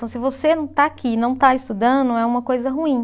Então, se você não está aqui e não está estudando, é uma coisa ruim.